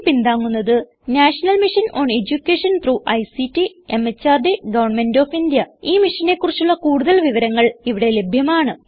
ഇതിനെ പിന്താങ്ങുന്നത് national mission on education through ICT MHRD government of India ഈ മിഷനെ കുറിച്ചുള്ള കുടുതൽ വിവരങ്ങൾ ഇവിടെ ലഭ്യമാണ്